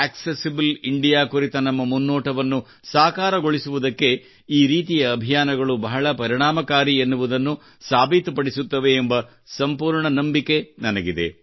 accessible India ಕುರಿತ ನಮ್ಮ ಮುನ್ನೋಟವನ್ನು ಸಾಕಾರಗೊಳಿಸುವುದಕ್ಕೆ ಈ ರೀತಿಯ ಅಭಿಯಾನಗಳು ಬಹಳ ಪರಿಣಾಮಕಾರಿ ಎನ್ನುವುದನ್ನು ಸಾಬೀತು ಪಡಿಸುತ್ತವೆ ಎಂಬ ಸಂಪೂರ್ಣ ನಂಬಿಕೆ ನನಗಿದೆ